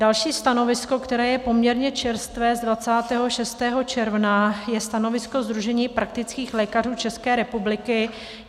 Další stanovisko, které je poměrně čerstvé, z 26. června, je stanovisko Sdružení praktických lékařů České republiky.